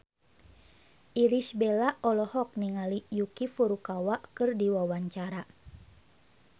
Irish Bella olohok ningali Yuki Furukawa keur diwawancara